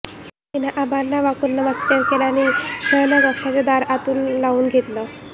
तिनं आबांना वाकून नमस्कार केला नि शयनकक्षाचं दार आतून लावून घेतलं